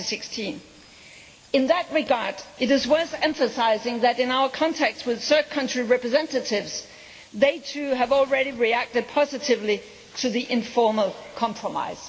2016. In that regard, it is worth emphasising that, in our contacts with third country representatives, they too have already reacted positively to the informal compromise.